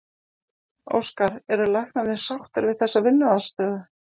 Óskar, eru læknarnir sáttir við þessa vinnuaðstöðu?